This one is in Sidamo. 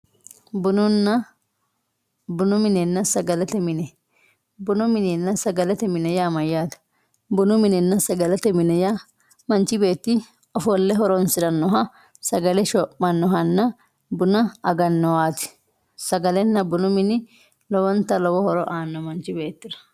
bununna bunu minenna sagalete mine bunu minenna sagalete mine yaa mayaate bunu minenna sagalete mine yaa manch beetti offolle horonsirannoha sagale shoo'mannowanna buna agannowaati sagalenna bunu mini lowonta lowo horo aano manchu beettira